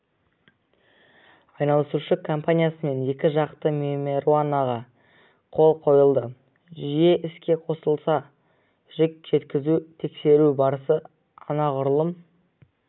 айналысушы компаниясымен екі жақты меморандумға қол қойылды жүйе іске қосылса жүк жеткізу тексеру барысы анағұрлым